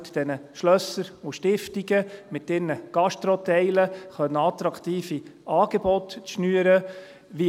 Helfen Sie diesen Schlössern und Stiftungen, mit ihren Gastroteilen attraktive Angebote schnüren zu können.